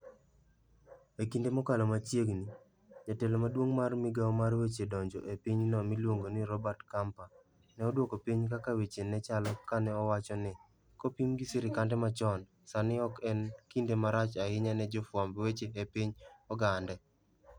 E kinde mokalo machiegni, jatelo maduong ' mar migawo mar weche donjo e pinyno miluongo ni Roberto Campa, ne odwoko piny kaka weche ne chalo kane owacho ni, kopim gi sirkande machon, sani ok en kinde marach ahinya ne jofwamb weche e piny Ogande.